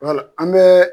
an bɛ